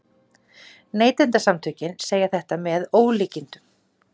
Neytendasamtökin segja þetta með ólíkindum